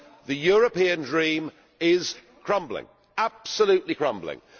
The European dream is crumbling, absolutely crumbling.